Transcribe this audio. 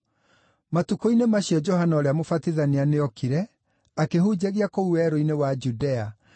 Matukũ-inĩ macio Johana ũrĩa Mũbatithania nĩokire, akĩhunjagia kũu Werũ-inĩ wa Judea,